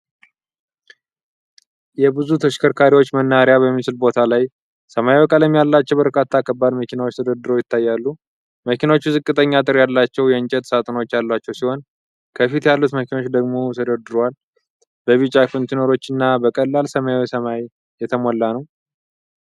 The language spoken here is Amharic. የብዙ ተሽከርካሪዎች መናኸሪያ በሚመስል ቦታ ላይ ሰማያዊ ቀለም ያላቸው በርካታ ከባድ መኪናዎች ተደርድረው ይታያሉ። መኪኖቹ ዝቅተኛ አጥር ያላቸው የእንጨት ሳጥኖች ያሏቸው ሲሆን፣ ከፊት ያሉት መኪኖች ደግሞ ተደርድረዋል። በቢጫ ኮንቴይነሮች እና በቀላል ሰማያዊ ሰማይ የተሞላ ነው።